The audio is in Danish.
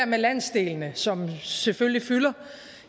med landsdelene som selvfølgelig fylder